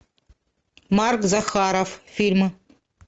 марк захаров фильмы